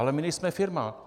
Ale my nejsme firma!